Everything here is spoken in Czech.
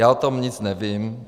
Já o tom nic nevím.